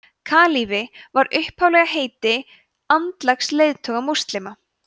kalífi var upphaflega heiti andlegs leiðtoga múslima